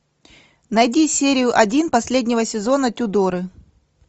найди серию один последнего сезона тюдоры